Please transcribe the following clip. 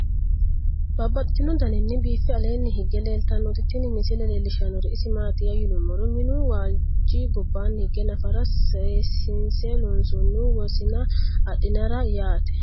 Babaxxittinno daninni biiffe aleenni hige leelittannotti tinni misile lelishshanori isi maattiya yinummoro minnu waalichi gobbanni hige naffara seesinse loonsoonnihu wosiinna adhinara yatte